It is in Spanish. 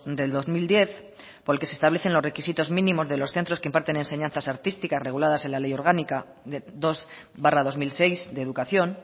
del dos mil diez por el que se establecen los requisitos mínimos de los centros que imparten enseñanzas artísticas reguladas en la ley orgánica de dos barra dos mil seis de educación